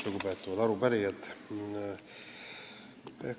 Lugupeetavad arupärijad!